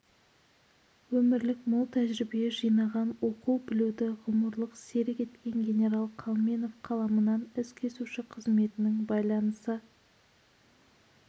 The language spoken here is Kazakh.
өмірлік мол тәжірибе жинаған оқу-білуді ғұмырлық серік еткен генерал қалменов қаламынан ізкесуші қызметінің байланысы